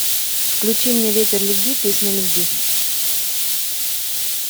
включи мне ветер любви песня любви